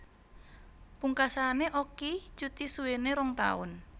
Pungkasane Okky cuti suwene rong taun